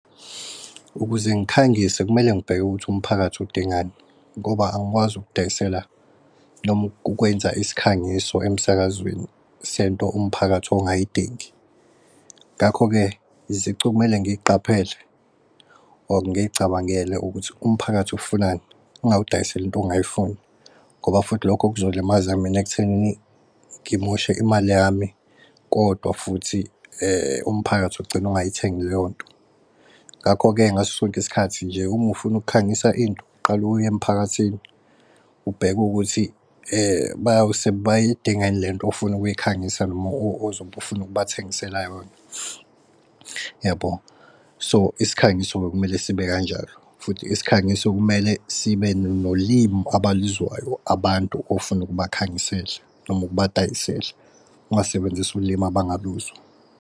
Ukuze ngikhangise kumele ngibheke ukuthi umphakathi udingani ngoba angikwazi ukudayisela noma ukwenza isikhangiso emsakazweni sento umphakathi ongayidingi. Ngakho-ke izicu okumele ngiy'qaphele or ngiy'cabangele ukuthi umphakathi ufunani ngingawudayiseli into ongayifuni. Ngoba futhi lokho kuzolimaza mina ekutheni ngimoshe imali yami kodwa futhi umphakathi ugcine ungay'thengi leyonto. Ngakho-ke ngaso sonke isikhathi nje, uma ufuna ukukhangisa into qale uye emphakathini ubheke ukuthi bayadinga yini lento ofuna ukuyikhangisa noma ozobe ufuna ukubathengisela yona. Uyabo? So, isikhangiso bekumele sibe kanjalo futhi isikhangiso kumele sibe nolimi abaluzwayo abantu ofuna ukubakhangisela. Noma ukubadayisela ungasebenzisi ulimi abangaluzwa.